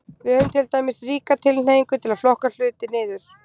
Við höfum til dæmis ríka tilhneigingu til að flokka hluti niður.